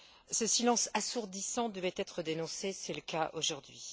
Ce silence assourdissant devait être dénoncé c'est le cas aujourd'hui.